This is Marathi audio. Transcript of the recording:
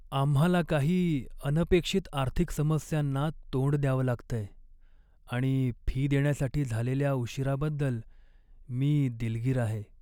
आम्हाला काही अनपेक्षित आर्थिक समस्यांना तोंड द्यावं लागतंय आणि फी देण्यासाठी झालेल्या उशिराबद्दल मी दिलगीर आहे.